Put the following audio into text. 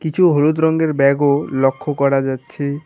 কিছু হলুদ রঙ্গের ব্যাগও লক্ষ করা যাচ্ছে।